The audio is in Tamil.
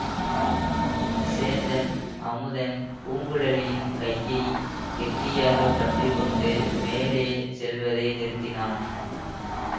சேந்தன் அமுதன் பூங்குழலியின் கையை கெட்டியாக பற்றி கொண்டு மேலே செல்வதை நிறுத்தினான்